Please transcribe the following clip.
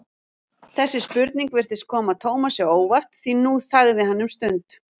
Þessi spurning virtist koma Tómasi á óvart því nú þagði hann um stund.